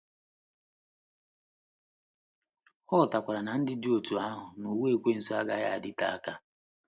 Ọ ghọtakwara na ndụ dị otú ahụ n’ụwa ekwensu agaghị adịte aka.